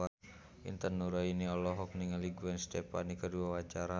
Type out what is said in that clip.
Intan Nuraini olohok ningali Gwen Stefani keur diwawancara